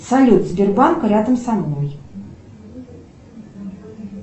салют сбербанк рядом со мной